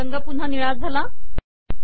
पुन्हा निळा रंग आला